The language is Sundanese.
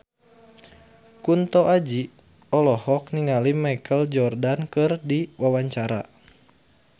Kunto Aji olohok ningali Michael Jordan keur diwawancara